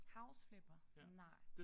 House Flipper? Nej